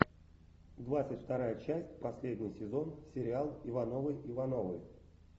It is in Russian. двадцать вторая часть последний сезон сериал ивановы ивановы